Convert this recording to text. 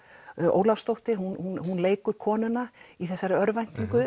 Ólafsdóttir hún leikur konuna í þessari örvæntingu